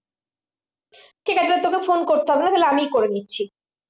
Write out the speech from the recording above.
ঠিক আছে তাহলে তোকে phone করতে হবে না তাহলে আমি করে নিচ্ছি